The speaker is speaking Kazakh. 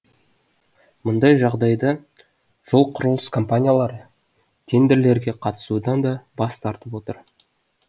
мұндай жағдайда жол құрылыс компаниялары тендерлерге қатысудан да бас тартып отыр